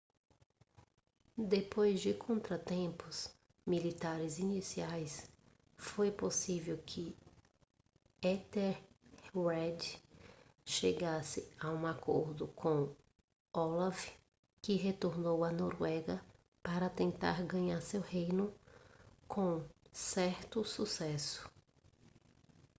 depois de contratempos militares iniciais foi possível que ethelred chegasse a um acordo com olaf que retornou à noruega para tentar ganhar seu reino com certo sucesso